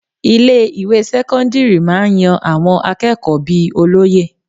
Ilé ìwé sẹ́kọ́ńdírì máa ń yan àwọn akẹ́kọ̀ọ́ bíi olóye.